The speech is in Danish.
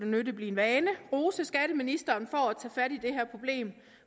nødig blive en vane rose skatteministeren for at tage fat i det her problem